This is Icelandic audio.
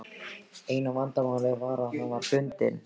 Eina vandamálið var að hann var bundinn.